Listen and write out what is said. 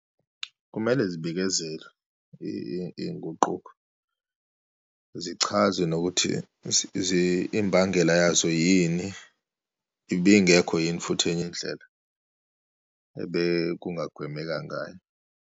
Kumele zibekezelwe iyinguquko, zichazwe nokuthi imbangela yazo yini, ibingekho yini futhi enye indlela ebekungagwemeka ngayo.